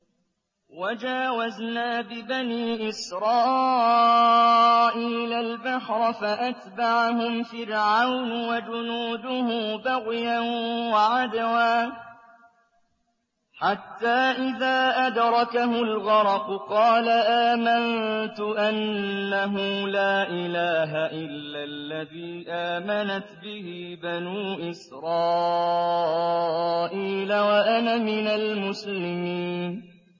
۞ وَجَاوَزْنَا بِبَنِي إِسْرَائِيلَ الْبَحْرَ فَأَتْبَعَهُمْ فِرْعَوْنُ وَجُنُودُهُ بَغْيًا وَعَدْوًا ۖ حَتَّىٰ إِذَا أَدْرَكَهُ الْغَرَقُ قَالَ آمَنتُ أَنَّهُ لَا إِلَٰهَ إِلَّا الَّذِي آمَنَتْ بِهِ بَنُو إِسْرَائِيلَ وَأَنَا مِنَ الْمُسْلِمِينَ